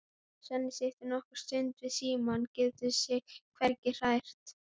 Svenni situr nokkra stund við símann, getur sig hvergi hrært.